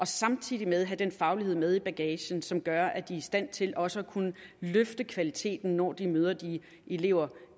samtidig have den faglighed med i bagagen som gør at de er i stand til også at kunne løfte kvaliteten når de møder de elever